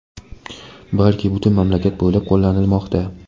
balki butun mamlakat bo‘ylab qo‘llanilmoqda.